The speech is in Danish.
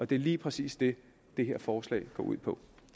det er lige præcis det det her forslag går ud på